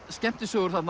skemmtisögur